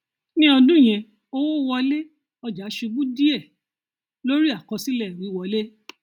ní ọdún yẹn owó wọlé ọjà ṣubú díẹ lórí àkọsílẹ wíwọlé